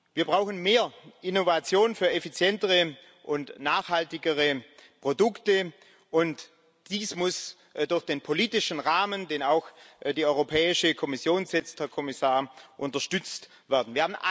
Wir brauchen mehr Innovation für effizientere und nachhaltigere Produkte, und dies muss durch den politischen Rahmen, den auch die Europäische Kommission setzt, Herr Kommissar, unterstützt werden.